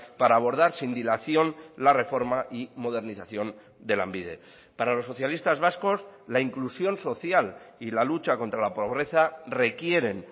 para abordar sin dilación la reforma y modernización de lanbide para los socialistas vascos la inclusión social y la lucha contra la pobreza requieren